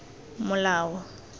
molao